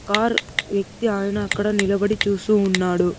Car వ్యక్తి ఆయన అక్కడ నిలబడి చూస్తూ ఉన్నాడు.